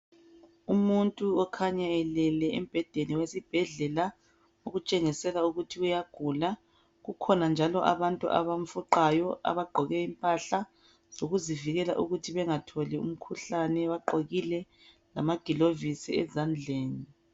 Umuntu okhanya elele embhedeni wesibhedlela okutshengisela ukuthi uyagula. Kukhona njalo abantu abamfuqayo abagqoke impahla zokuzivikela ukuthi bangatholi umkhuhlane. Bagqokile lamagilovisi ezandleni.